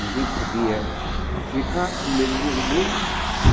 Ninguém podia ficar com medo dele dele.